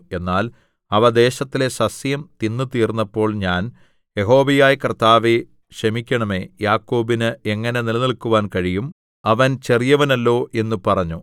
എന്നാൽ അവ ദേശത്തിലെ സസ്യം തിന്നുതീർന്നപ്പോൾ ഞാൻ യഹോവയായ കർത്താവേ ക്ഷമിക്കണമേ യാക്കോബിന് എങ്ങനെ നിലനിൽക്കാൻ കഴിയും അവൻ ചെറിയവനല്ലോ എന്ന് പറഞ്ഞു